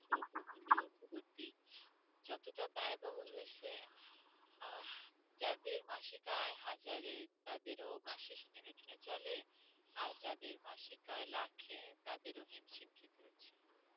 যতটা ব্যয়বহুল হয়েছে আহ যাদের মাসিক আয় হাজারে, তাদেরও মাসের শেষে টেনে টুনে চলে আর যাদের মাসিক আয় লাখে তাদেরও হিমশিম খেতে হচ্ছে